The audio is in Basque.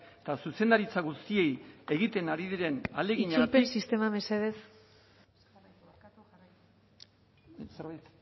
eta zuzendaritza guztiek egiten ari diren ahaleginari